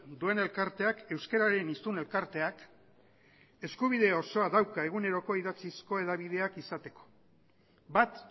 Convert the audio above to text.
duen elkarteak euskararen hiztun elkarteak eskubide osoa dauka eguneroko idatzizko hedabideak izateko bat